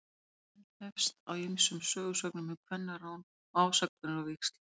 Frásögnin hefst á ýmsum sögusögnum um kvennarán og ásakanir á víxl.